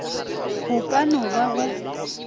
go ka no ba go